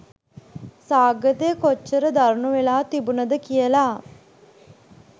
සාගතය කොච්චර දරුණු වෙලා තිබුණද කියලා